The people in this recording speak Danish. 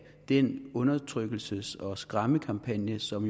den undertrykkelses og skræmmekampagne som